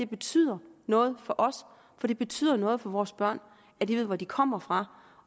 betyder noget for os for det betyder noget for vores børn at de ved hvor de kommer fra